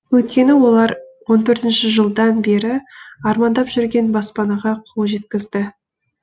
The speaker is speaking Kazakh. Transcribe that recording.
өйткені олар он төртінші жылдан бері армандап жүрген баспанаға қол жеткізді